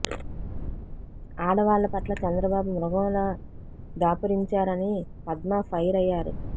ఆడవాళ్ల పట్ల చంద్రబాబు మృగంలా దాపురించారని పద్మ ఫైర్ అయ్యారు